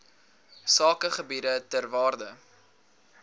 sakegebiede ter waarde